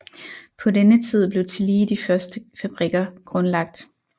På denne tid blev tillige de første fabrikker grundlagt